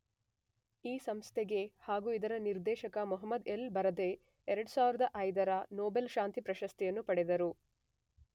ಈ ಸಂಸ್ಥೆಗೆ ಹಾಗು ಇದರ ನಿರ್ದೇಶಕ ಮೊಹಮದ್ ಎಲ್, ಬರದೈ ೨೦೦೫ರ ನೊಬೆಲ್ ಶಾಂತಿ ಪ್ರಶಸ್ತಿಯನ್ನು ಪಡೆದರು.